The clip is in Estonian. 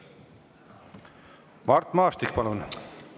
Mart Maastik, palun!